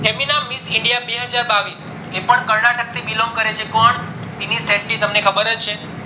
miss india બે હજાર બાવીસ એ પણ કર્નાટક થી belong કરે છે કોણ સીનની શેતી તમને ખબરજ છે